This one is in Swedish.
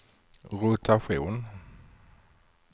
rotation